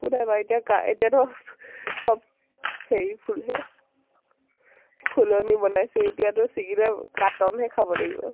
একো নাই বাৰু এতিয়া এতিয়াতো চব হেৰি ফুল হে । ফুলনি বনাইছে । এতিয়াতো চিঙিলে কাটন হে খাব লাগিব ।